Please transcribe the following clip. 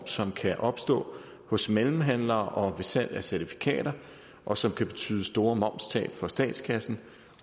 som kan opstå hos mellemhandlere og ved salg af certifikater og som kan betyde store momstab for statskassen